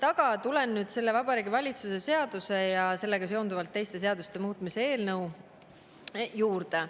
Aga tulen nüüd Vabariigi Valitsuse seaduse ja sellega seonduvalt teiste seaduste muutmise eelnõu juurde.